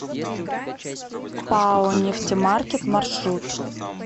пао нефтемаркет маршрут